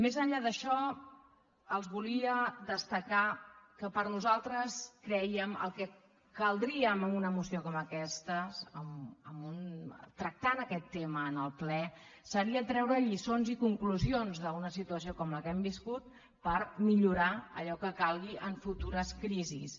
més enllà d’això els volia destacar que nosaltres crè·iem que el que caldria en una moció com aquesta tractant aquest tema en el ple seria treure lliçons i conclusions d’una situació com la que hem viscut per millorar allò que calgui en futures crisis